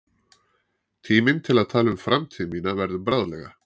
Tíminn til að tala um framtíð mína verður bráðlega.